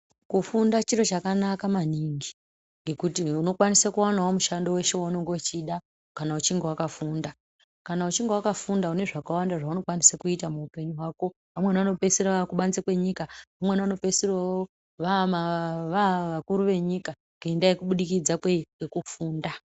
Kufunda chiro chakanaka maningi ngekuti unokwanisa kuwana mushando wese weunenge uchida kana uchinge wakafunda. Kana uchinge wakafunda une zvakawanda zveunokwanisa kuita muhupenyu hwako. Vamweni vanopedzisira vakubanze kwenyika, vamweni vanopezisira vavakuru venyika ngenda yekubudikidza kwekufunda.